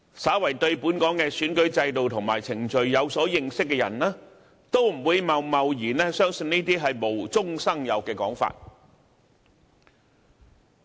稍為對本港的選舉制度和程序有所認識的人，都不會貿貿然相信這些無中生有的說法。